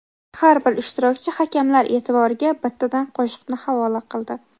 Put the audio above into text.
Har bir ishtirokchi hakamlar e’tiboriga bittadan qo‘shiqni havola qildi.